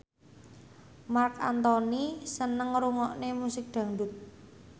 Marc Anthony seneng ngrungokne musik dangdut